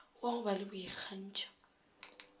wa go ba le boikgantšho